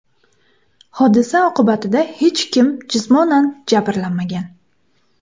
Hodisa oqibatida hech kim jismonan jabrlanmagan.